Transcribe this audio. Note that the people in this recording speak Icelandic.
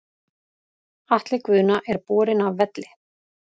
Atli Guðna er borinn af velli.